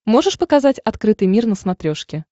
можешь показать открытый мир на смотрешке